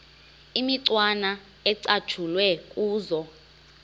imicwana ecatshulwe kuzo